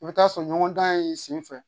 I bɛ taa sɔrɔ ɲɔgɔn dan ye sen fɛ